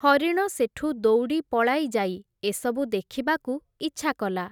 ହରିଣ ସେଠୁ ଦୌଡ଼ି ପଳାଇ ଯାଇ, ଏସବୁ ଦେଖିବାକୁ ଇଚ୍ଛାକଲା ।